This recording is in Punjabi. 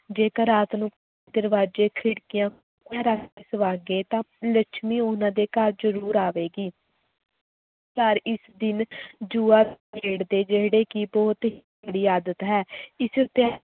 ਜੇਕਰ ਰਾਤ ਨੂੰ ਦਰਵਾਜ਼ੇ ਖਿੜਕੀਆਂ ਰੱਖ ਕੇ ਤਾਂ ਲੱਛਮੀ ਉਹਨਾਂ ਦੇ ਘਰ ਜ਼ਰੂਰ ਆਵੇਗੀ ਪਰ ਇਸ ਦਿਨ ਜੂਆ ਖੇਡਦੇ, ਜਿਹੜੇ ਕਿ ਬਹੁਤ ਹੀ ਆਦਤ ਹੈ ਇਸ